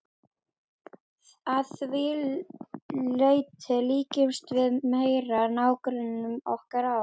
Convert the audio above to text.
Að því leyti líkjumst við meira nágrönnum okkar á